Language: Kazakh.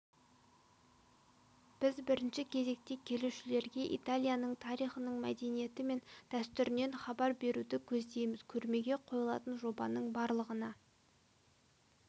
біз бірінші кезекте келушілерге италияның тарихынан мәдениеті мен дәстүрінен хабар беруді көздейміз көрмеге қойлатын жобаның барлығына